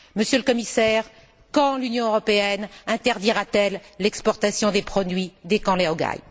Monsieur le Commissaire, quand l'Union européenne interdira t elle l'exportation des produits des camps laogai?